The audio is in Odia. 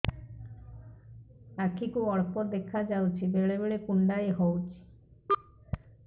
ଆଖି କୁ ଅଳ୍ପ ଦେଖା ଯାଉଛି ବେଳେ ବେଳେ କୁଣ୍ଡାଇ ହଉଛି